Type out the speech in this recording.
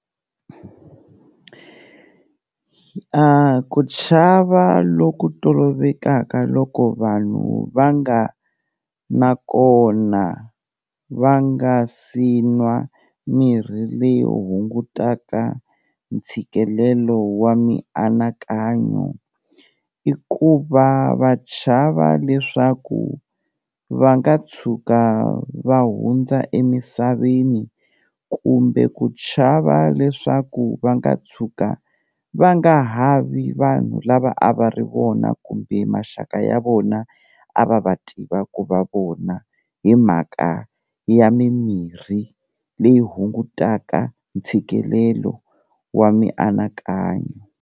A ku chava loku tolovekaka loko vanhu va nga na kona va nga si nwa mirhi leyi hungutaka ntshikelelo wa mianakanyo, i ku va va chava leswaku va nga tshuka va hundza emisaveni kumbe ku chava leswaku va nga tshuka va nga ha vi vanhu lava a va ri vona kumbe maxaka ya vona a va va tiva ku va vona, hi mhaka ya mimirhi leyi hungutaka ntshikelelo wa mianakanyo.